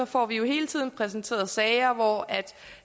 får vi hele tiden præsenteret sager hvor